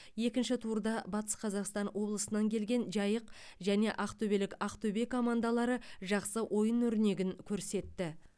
екінші турда батыс қазақстан облысынан келген жайық және ақтөбелік ақтөбе командалары жақсы ойын өрнегін көрсетті